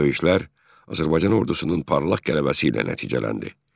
Döyüşlər Azərbaycan ordusunun parlaq qələbəsi ilə nəticələndi.